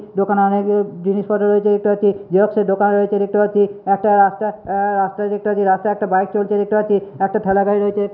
দোকানে অনেকে জিনিসপত্র রয়েছে দেখতে পাচ্ছি। জেরক্স এর দোকান রয়েছে দেখতে পাচ্ছি। একটা রাস্তা অ্যাঁ রাস্তা দেখতে পাচ্ছি। রাস্তায় একটা বাইক চলছে দেখতে পাচ্ছি। একটা ঠ্যালা গাড়ি রয়েছে।